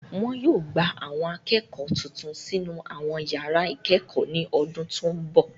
Wọn yóò gba Àwọn akẹ́kọ̀ọ́ tuntun sínú àwọn yàrá ìkẹ́kọ̀ọ́ ní ọdún tó ń bọ̀